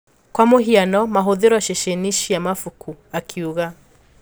Kwa mũhiano mahũthiro ceceni-ini cia mabuku," akiuga.